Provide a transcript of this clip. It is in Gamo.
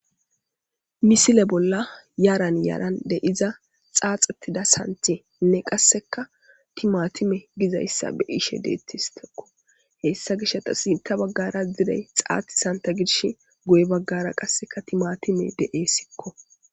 misile bolla yaran yaaran de' iza xaaxettida santenne qasseka timatime gizayssa be ishe deettistekko hessa gish ta sinta baggara zirey xaati santa gidsh goye baggara qasseka timatime de7e sikko